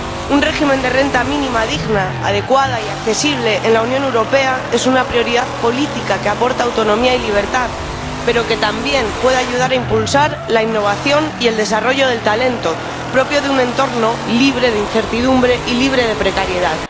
Un régimen de renta mínima digna, adecuada y accesible en la Unión Europea es una prioridad política que aporta autonomía y libertad, pero que también puede ayudar a impulsar la innovación y el desarrollo del talento propio de un entorno libre de incertidumbre y libre de precariedad.